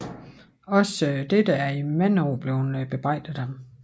Også dette er i mange år efter blevet bebrejdet ham